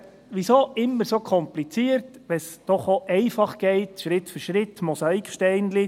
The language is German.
Warum immer so kompliziert, wenn es doch auch einfach geht, Schritt für Schritt, mit Mosaiksteinchen?